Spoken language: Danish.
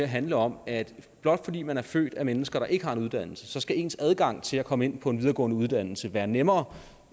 handle om at blot fordi man er født af mennesker der ikke har en uddannelse så skal ens adgang til at komme ind på en videregående uddannelse være nemmere